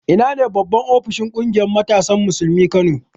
Ina ne babban ofishin ƙungiyar matasan Musulmin Kano?